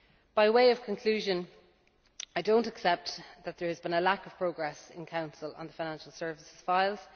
By way of conclusion, I do not accept that there has been a lack of progress in the Council on the financial services